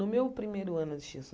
No meu primeiro ano de xis